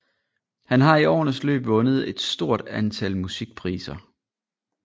Han har i årenes løb vundet et stort antal musikpriser